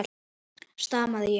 stamaði ég.